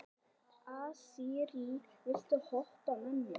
Asírí, viltu hoppa með mér?